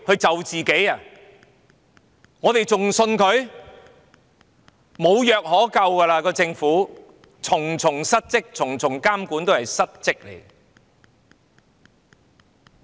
這個政府已經無藥可救，重重失職，重重監管也是失職的。